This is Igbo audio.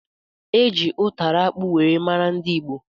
Eji ụtara akpụ wee mara ndị ìgbo